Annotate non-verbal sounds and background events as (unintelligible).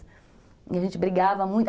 E a gente brigava (unintelligible)